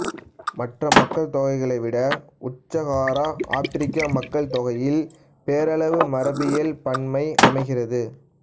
மற்ற மக்கள்தொகைகளை விட உட்சகாரா ஆப்பிரிக்க மக்கள்தொகையில் பேரளவு மரபியல் பன்மை அமைகிறது